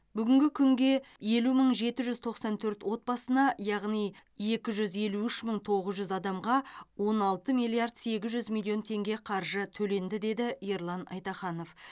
бүгінгі күнге елу мың жеті жүз тоқсан төрт отбасына яғни екі жүз елу үш мың тоғыз жүз адамға он алты миллиард сегіз жүз миллион теңге қаржы төленді деді ерлан айтаханов